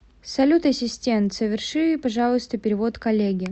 салют ассистент соверши пожалуйста перевод коллеге